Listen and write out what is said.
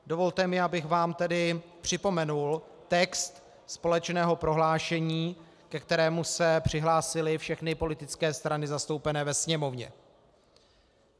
Dovolte mi, abych vám tedy připomenul text společného prohlášení, ke kterému se přihlásily všechny politické strany zastoupené ve Sněmovně.